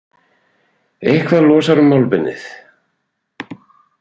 Eitthvað losar um málbeinið